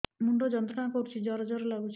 ମୁଣ୍ଡ ଯନ୍ତ୍ରଣା କରୁଛି ଜର ଜର ଲାଗୁଛି